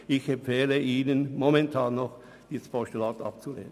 Ich empfehle Ihnen momentan noch, dieses Postulat abzulehnen.